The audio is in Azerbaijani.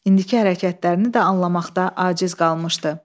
İndiki hərəkətlərini də anlamaqda aciz qalmışdı.